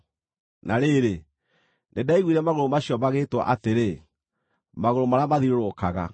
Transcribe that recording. Na rĩrĩ, nĩndaiguire magũrũ macio magĩĩtwo atĩrĩ, “Magũrũ marĩa mathiũrũrũkaga.”